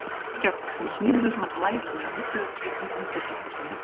Reykjavík sem smíðuðu svona glæsilegar mublur í kringum fyrri heimsstyrjöld.